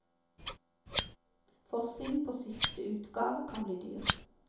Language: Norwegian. Forsiden på siste utgave kan bli dyr.